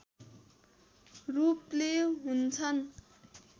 रूपले हुन्छन्